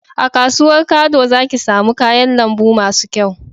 A kasuwan kado za ki samu kayan lambu masu kyau